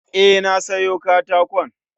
E, na siyo katakon